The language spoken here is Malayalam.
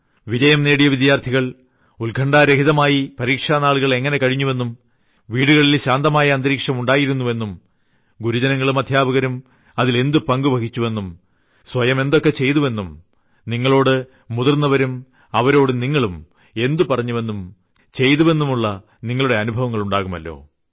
വിജയം നേടിയ വിദ്യാർത്ഥികൾ ഉത്ക്കണ്ഠാരഹിതമായി പരീക്ഷാനാളുകളിൽ എങ്ങിനെ കഴിഞ്ഞുവെന്നും വീടുകളിൽ ശാന്തമായ അന്തരീക്ഷം ഉണ്ടായിരുന്നെന്നും ഗുരുജനങ്ങളും അദ്ധ്യാപകരും എന്തു പങ്ക് വഹിച്ചുവെന്നും സ്വയം എന്തൊക്കെ ചെയ്തെന്നും നിങ്ങളോട് മുതിർന്നവരും അവരോട് നിങ്ങളും എന്ത് പറഞ്ഞുവെന്നും ചെയ്തുവെന്നുമുള്ള നിങ്ങളുടെ നല്ല അനുഭവങ്ങൾ ഉണ്ടാകുമല്ലോ